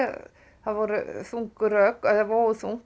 það voru þung rök eða vógu þungt